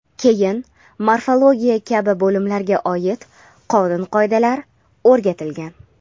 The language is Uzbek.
keyin morfologiya kabi bo‘limlarga oid qonun-qoidalar o‘rgatilgan.